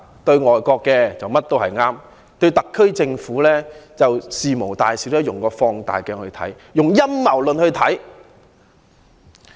對於外國，他們認為甚麼都是對的；對特區政府，就事無大小，都用放大鏡來看，用陰謀論來看。